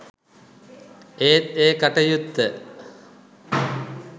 ඒත් ඒ කටයුත්ත